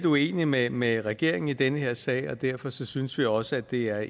uenige med med regeringen i den her sag og derfor synes synes vi også at det er